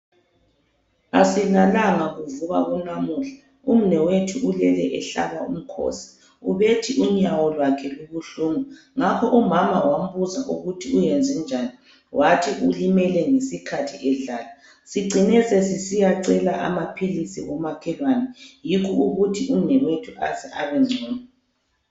Asilalanga kuvuka kunamuhla, umnewethu ulele ehlaba umkhosi. Ubethi unyawo lwakhe lubuhlungu. Ngakho umama wambuza ukuthi uyenzenjani, wathi ulimele ngesikhathi edlala. Sicine sesisiyacela amaphilisi komakhelwane. Yikho ukuthi umnewethu aze abengcono.